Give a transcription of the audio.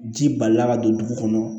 Ji balila ka don dugu kɔnɔ